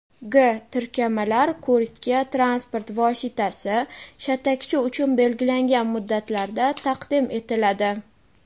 g) tirkamalar ko‘rikka transport vositasi — shatakchi uchun belgilangan muddatlarda taqdim etiladi;.